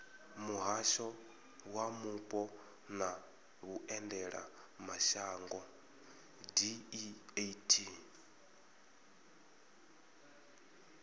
muhasho wa mupo na vhuendelamashango deat